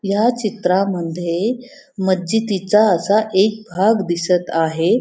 या चित्रामध्ये मस्जिदीचा असा एक भाग दिसत आहे.